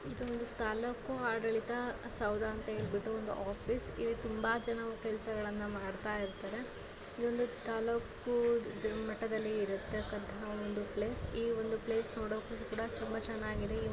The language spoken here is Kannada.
ಇದು ತಾಲೂಕು ಆಡಳಿತ ಸೌಧ ಅಂತ ಹೇಳ್ಬಿಟ್ಟು ಒಂದು ಆಫೀಸ್ . ಇಲ್ಲಿ ತುಂಬಾ ಜನ ಕೆಲಸಗಳನ್ನ ಮಾಡ್ತಾ ಇರ್ತಾರೆ. ಇದೊಂದು ತಾಲೂಕು ಮಟ್ಟದಲ್ಲಿ ಇರತಕಂತಹ ಒಂದು ಪ್ಲೇಸ್ . ಈ ಒಂದು ಪ್ಲೇಸ್ ನೋಡೋಕು ಕೂಡ ತುಂಬಾ ಚೆನ್ನಾಗಿದೆ.